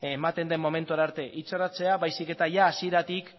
ematen den momentura arte itxarotea baizik eta hasieratik